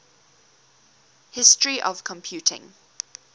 history of computing